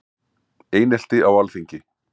Einelti á Alþingi